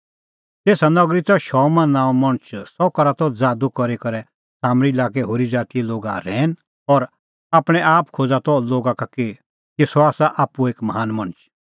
तेसा नगरी त शमौन नांओं मणछ सह करा त ज़ादू करी करै सामरी लाक्कै होरी ज़ातीए लोगा रहैन और आपणैं आप खोज़ा त लोगा का कि सह आसा आप्पू एक महान मणछ